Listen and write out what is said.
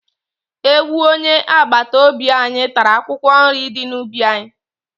Ewu onye agbata obi anyị tara akwụkwọ nrị dị n'ubi anyị.